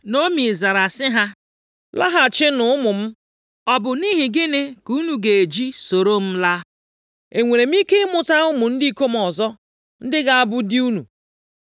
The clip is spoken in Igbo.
Naomi zara sị ha, “Laghachinụ ụmụ m, ọ bụ nʼihi gịnị ka unu ga-eji soro m laa? E nwere m ike ịmụta ụmụ ndị ikom ọzọ ndị ga-abụ di unu? + 1:11 Ajụjụ a bụ nʼihi omenaala ndị Juu, nke bụ, na nwanyị ọbụla na-amụtaghị nwa tupu di ya a nwụọ, na nwanne di ya ga-alụrụ ya. \+xt Jen 38:6-8; Dit 25:5-10\+xt*